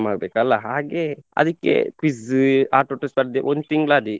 ಮಾಡ್ಬೇಕಲ್ಲ ಹಾಗೆ ಅದಿಕ್ಕೆ quiz ಆಟೋಟ ಸ್ಪರ್ಧೆ ಒಂದು ತಿಂಗ್ಳು ಅದೇ.